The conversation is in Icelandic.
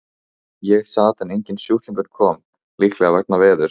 Ég sat en enginn sjúklingur kom, líklega vegna veðurs.